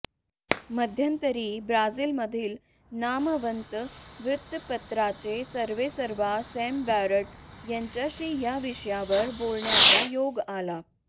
मध्यंतरी ब्राझीलमधील नामवंत वृत्तपत्राचे सर्वेसर्वा सॅम बॅरट यांच्याशी या विषयावर बोलण्याचा योग आला